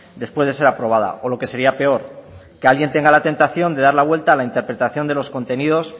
después de ser aprobada o lo que sería peor que alguien tenga la tentación de dar la vuelta a la interpretación de los contenidos